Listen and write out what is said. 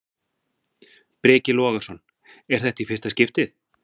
Breki Logason: Er þetta í fyrsta skiptið?